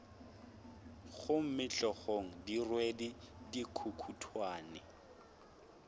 gomme hlogong di rwele dikukutwane